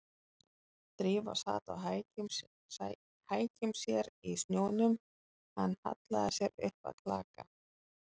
Drífa sat á hækjum sér í snjónum, hann hallaði sér upp að klaka